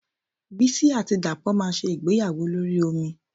Bísí àti Dàpọ̀ máa ṣe ìgbéyàwó lórí omi